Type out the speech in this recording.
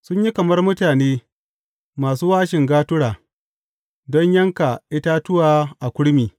Sun yi kamar mutane masu wāshin gatura don yanka itatuwa a kurmi.